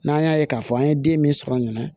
N'an y'a ye k'a fɔ an ye den min sɔrɔ a ɲana